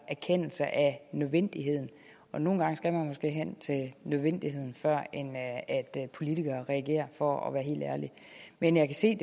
erkendelse af nødvendigheden nogle gange skal man måske hen til nødvendigheden førend politikere reagerer for at være helt ærlig men jeg kan se